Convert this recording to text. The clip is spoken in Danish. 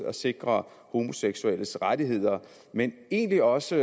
at sikre homoseksuelles rettigheder men egentlig også